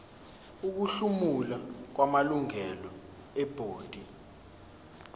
ukuhlomula kwamalungu ebhodi